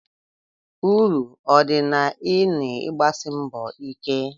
Uru ọ dị na i n'ịgbasi mbọ ike?